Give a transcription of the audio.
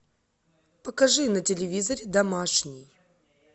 покажи на телевизоре домашний